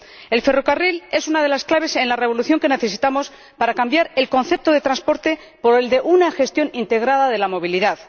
El ferrocarril es una de las claves en la revolución que necesitamos para cambiar el concepto de transporte por el de gestión integrada de la movilidad.